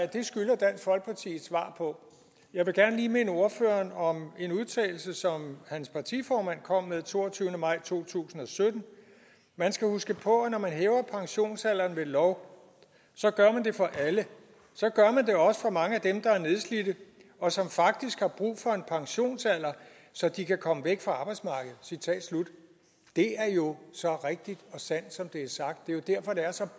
det skylder dansk folkeparti et svar på jeg vil gerne lige minde ordføreren om en udtalelse som hans partiformand kom med den toogtyvende maj 2017 man skal huske på at når man hæver pensionsalderen ved lov så gør man det for alle så gør man det også for mange af dem der er nedslidte og som faktisk har brug for en pensionsalder så de kan komme væk fra arbejdsmarkedet citat slut det er jo så rigtigt og sandt som det er sagt det er jo derfor det er så